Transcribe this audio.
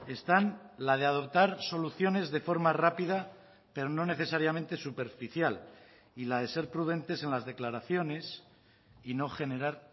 están la de adoptar soluciones de forma rápida pero no necesariamente superficial y la de ser prudentes en las declaraciones y no generar